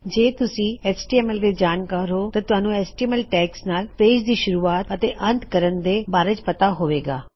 ਜੇ ਤੁਸੀ H T M L ਦੇ ਜਾਨਕਾਰ ਹੋਂ ਤਾਂ ਤੁਹਾਣੁ ਐਚਟੀਐਮਐਲ ਟੈਗਜ਼ ਨਾਲ ਪੇਜ ਦੀ ਸ਼ੂਰਵਾਤ ਅਤੇ ਅੰਤ ਕਰਨ ਦੇ ਬਾਰੇ ਪਤਾ ਹੋਵੇ ਗਾ